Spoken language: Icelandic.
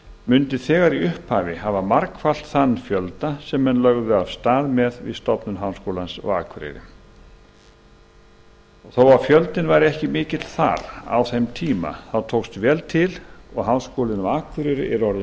mundi þegar í upphafi hafa margfaldan þann fjölda sem menn lögðu af stað með við stofnun háskólans á akureyri þó að fjöldinn væri ekki mikill þar á þeim tíma tókst vel til og háskólinn á akureyri er orðinn